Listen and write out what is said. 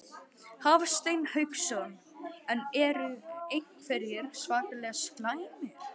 Hafsteinn Hauksson: En eru einhverjir svakalega slæmir?